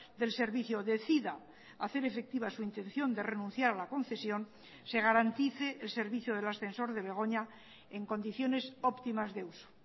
del servicio decida hacer efectiva su intención de renunciar a la concesión se garantice el servicio del ascensor de begoña en condiciones óptimas de uso